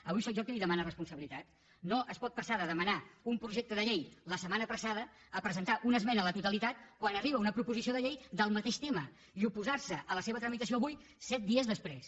avui sóc jo qui li demana responsabi·litat no es pot passar de demanar un projecte de llei la setmana passada a presentar una esmena a la totali·tat quan arriba una proposició de llei del mateix tema i oposar·se a la seva tramitació avui set dies després